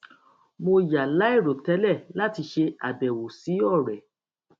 mo yà láìròtẹlẹ láti ṣe àbẹwò sí ọrẹ